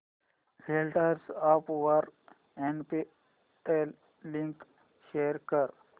WhatsApp वर Snapdeal link share कर